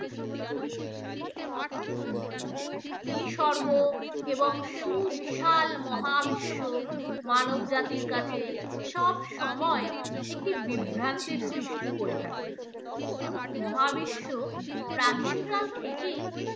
নিসর্গ এবং সুবিশাল মহাবিশ্ব মানব জাতির কাছে সবসময় একটি বিভ্রান্তির সৃষ্টি করে থাকে মহাবিশ্ব প্রাচীন কাল থেকেই